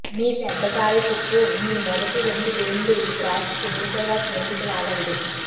మీ పెద్ద కాలి చుట్టూ మీ మొదటి రెండు వేళ్లు వ్రాసి తేలికగా క్రిందికి లాగండి